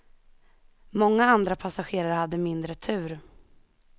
Många andra passagerare hade mindre tur.